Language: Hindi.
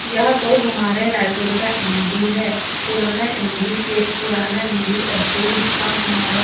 यह तो हमारे रायपुर का एम_डी है पुराना एम_डी के पुराना एम_डी ऐसे ही था हमारा।